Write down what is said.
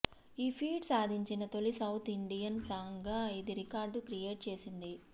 ఈ ఫీట్ సాధించిన తొలి సౌత్ ఇండియన్ సాంగ్ గా ఇది రికార్డు క్రియేట్ చేసింది